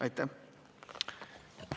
Aitäh!